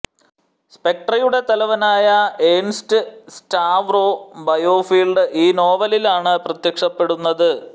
സ്പെക്ട്രെയുടെ തലവനായ Ernst Stavro Blofeld ഈ നോവലിലാണ് പ്രത്യക്ഷപ്പെടുന്നത്